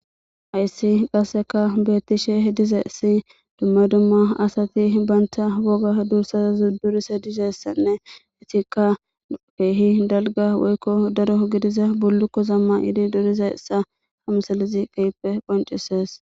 Hayssi qasseka beettishe dizeessi dumma dumma asati baynta woga duursaza zuddurise dizessanne etikka peehi dalga woykko daro gidiza bullukko zamma iidi duriza essa hamsalizi qeyippe qoncisees.